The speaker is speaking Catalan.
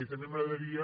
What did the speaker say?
i també m’agradaria